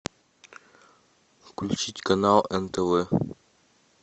включить канал нтв